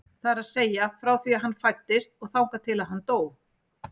Það er að segja frá því að hann fæddist og þangað til að hann dó.